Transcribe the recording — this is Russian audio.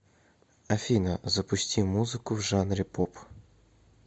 афина запусти музыку в жанре поп